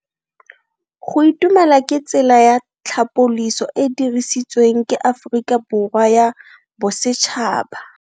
Go itumela ke tsela ya tlhapoliso e e dirisitsweng ke Aforika Borwa ya Bosetšhaba.